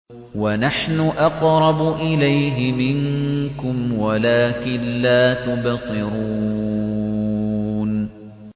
وَنَحْنُ أَقْرَبُ إِلَيْهِ مِنكُمْ وَلَٰكِن لَّا تُبْصِرُونَ